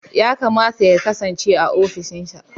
Ya kamata ya kasance a ofishinsa.